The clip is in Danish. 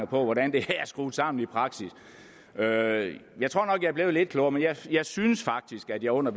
på hvordan det her er skruet sammen i praksis jeg at jeg blev lidt klogere men jeg synes faktisk at jeg under